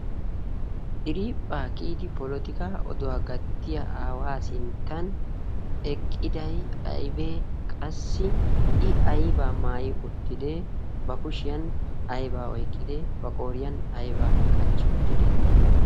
diriiphphaa kiyidi polotika oduwaa gattiya aawaa sinttan eqqidai aibee qassi i aibaa maayi uttidee ba kushiyan aibaa oiqqide ba qooriyan aibaa qachchi uttide?